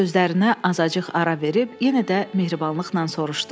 Sözlərinə azacıq ara verib yenə də mehribanlıqla soruşdu.